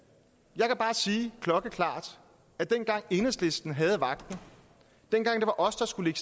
jeg kan bare sige klokkeklart at dengang enhedslisten havde vagten dengang det var os der skulle